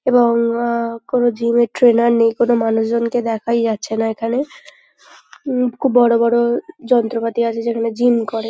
এবং আহ কোন জিমের ট্রেনার নেই কোন মানুষজনকে দেখাই যাচ্ছে না এখানে উম খুব বড় বড় যন্ত্রপাতি আছে যেখানে জিম করে।